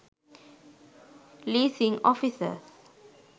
leasing offices